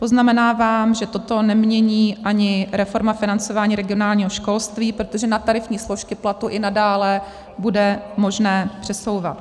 Poznamenávám, že toto nemění ani reforma financování regionálního školství, protože na tarifní složky platu i nadále bude možné přesouvat.